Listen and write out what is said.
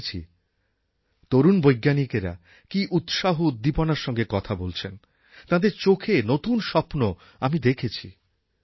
আমি দেখেছি তরুণ বৈজ্ঞানিকেরা কি উৎসাহউদ্দীপনার সঙ্গে কথা বলছেন তাঁদের চোখে নতুন স্বপ্ন আমি দেখেছি